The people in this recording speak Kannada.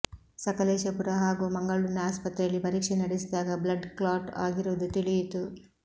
ಸಕಲೇಶಪುರ ಹಾಗೂ ಮಂಗಳೂರಿನ ಆಸ್ಪತ್ರೆಯಲ್ಲಿ ಪರೀಕ್ಷೆ ನಡೆಸಿದಾಗ ಬ್ಲಡ್ ಕ್ಲಾಟ್ ಆಗಿರುವುದು ತಿಳಿಯಿತು